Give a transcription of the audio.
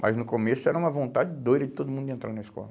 Mas no começo era uma vontade doida de todo mundo entrar na escola.